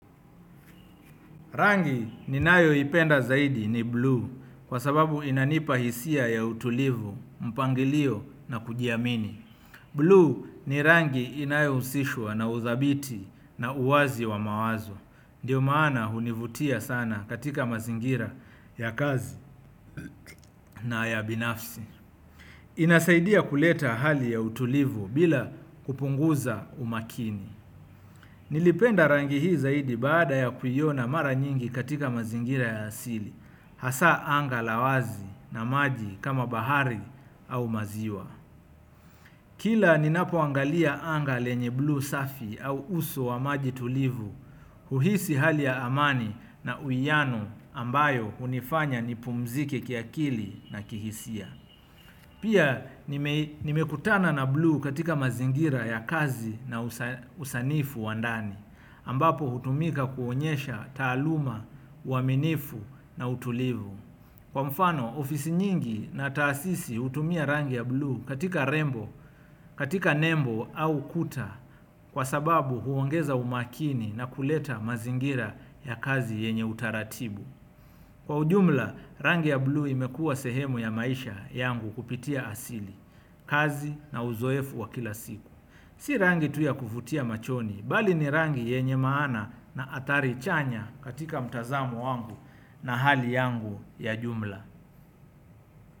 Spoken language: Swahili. Rangi ninayo ipenda zaidi ni buluu kwa sababu inanipa hisia ya utulivu, mpangilio na kujiamini. Blue ni rangi inayo husishwa na uthabiti na uwazi wa mawazo. Ndiyo maana hunivutia sana katika mazingira ya kazi na ya binafsi. Inasaidia kuleta hali ya utulivu bila kupunguza umakini. Nilipenda rangi hii zaidi baada ya kuiona mara nyingi katika mazingira ya asili hasa anga la wazi na maji kama bahari au maziwa kila ninapoangalia anga lenye blue safi au uso wa maji tulivu uhisi hali ya amani na uiano ambayo unifanya nipumzike kiakili na kihisia pia nimekutana na blue katika mazingira ya kazi na usanifu wa ndani ambapo hutumika kuonyesha taaluma, uaminifu na utulivu kwa mfano, ofisi nyingi na taasisi hutumia rangi ya bluu katika rembo, katika nembo au kuta kwa sababu huongeza umakini na kuleta mazingira ya kazi yenye utaratibu kwa ujumla, rangi ya bluu imekuwa sehemu ya maisha yangu kupitia asili, kazi na uzoefu wa kila siku si rangi tu ya kuvutia machoni, bali ni rangi yenye maana na athari chanya katika mtazamo wangu. Na hali yangu ya jumla.